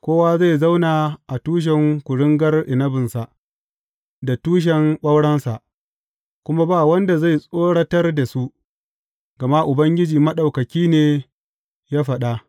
Kowa zai zauna a tushen kuringar inabinsa da tushen ɓaurensa, kuma ba wanda zai tsoratar da su, gama Ubangiji Maɗaukaki ne ya faɗa.